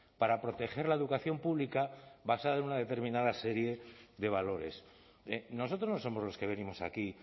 para proteger la educación pública basada en una determinada serie de valores nosotros no somos los que venimos aquí